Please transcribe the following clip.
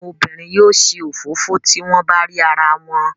Àwọn obìnrin yóò ṣe òfófó tí wọ́n bá rí arawọn.